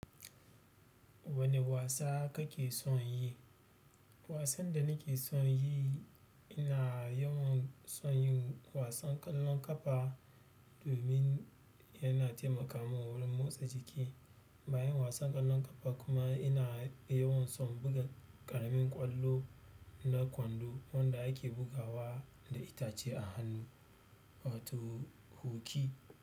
Wane wasa kake son yi? Wasan da nake son yi, ina yawan son yin wasan ƙwallon ƙafa domin yana taimakamun wurin motsa jiki. Bayan wasan ƙwallon ƙafa kuma ina yawan son buga ƙaramin ƙwallo na kwando wanda ake bugawa da itace a hannu. Wato, huki.